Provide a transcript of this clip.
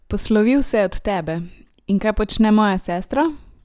Poslovil se je od tebe in kaj počne moja sestra?